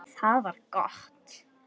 Það var gott